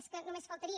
és que només faltaria